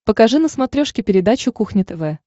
покажи на смотрешке передачу кухня тв